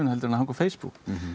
en að hanga á Facebook